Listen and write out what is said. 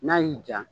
N'a y'i ja